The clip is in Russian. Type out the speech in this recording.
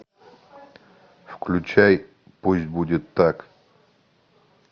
включай пусть будет так